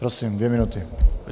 Prosím, dvě minuty.